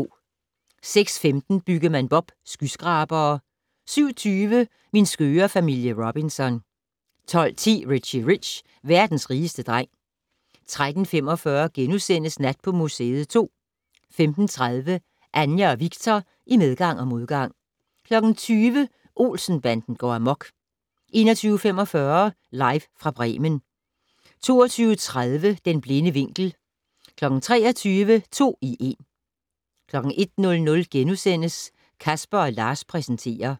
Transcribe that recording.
06:15: Byggemand Bob: Skyskrabere 07:20: Min skøre familie Robinson 12:10: Richie Rich - verdens rigeste dreng 13:45: Nat på museet 2 * 15:30: Anja og Viktor i medgang og modgang 20:00: Olsen-banden går amok 21:45: Live fra Bremen 22:30: Den blinde vinkel 23:00: To i en 01:00: Casper & Lars præsenterer *